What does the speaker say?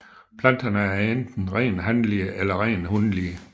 Planterne er enten rent hanlige eller rent hunlige